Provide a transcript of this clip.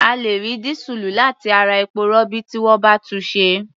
A lè rí dísùlù láti ara epo-rọ̀bì tí wọ́n bá túnṣe.